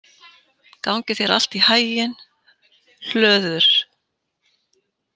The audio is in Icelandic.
Gangi þér allt í haginn, Hlöður.